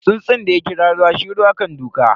Tsuntsun da ya kira ruwa, shi ruwa kan duka.